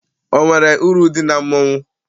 O nwere uru dị na mmọnwụ?